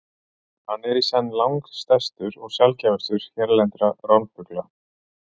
Hann er í senn langstærstur og sjaldgæfastur hérlendra ránfugla.